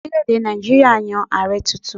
Orílè èdè Nàìjíríà yan Ààrẹ tuntun.